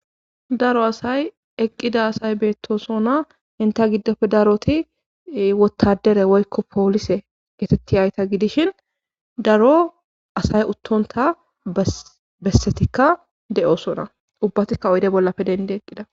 daro asay eqqida asay beettosona inta giddofe daroti wottadere woykko poolise getetti hayta gidishin daro asay uttonta bessetikka de'osona ubbatikka oyde bollape dendi eqqida